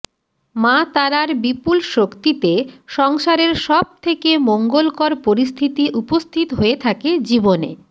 মা তারার বিপুল শক্তিতে সংসারের সব থেকে মঙ্গলকর পরিস্থিতি উপস্থিত হয়ে থাকে জীবনে